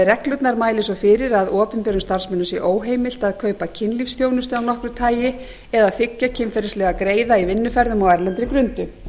reglurnar mæli svo fyrir að opinberum starfsmönnum sé óheimilt að kaupa kynlífsþjónustu af nokkru tagi eða þiggja kynferðislega greiða í vinnuferðum á erlendri grundu